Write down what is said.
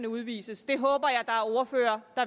udvises